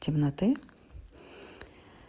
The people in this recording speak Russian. темноты